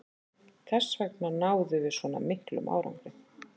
Þessvegna náðum við svona miklum árangri.